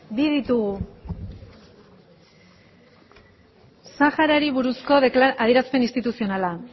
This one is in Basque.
bi ditugu saharari buruzko adierazpen instituzionala